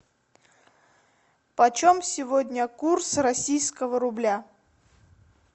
почем сегодня курс российского рубля